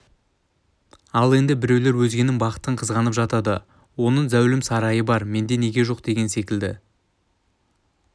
ал енді біреулер өзгенің бақытын қызғанып жатады оның зәулім сарайы бар менде неге жоқ деген секілді